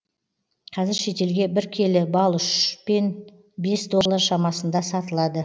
қазір шетелге бір келі бал үш пен бес доллар шамасында сатылады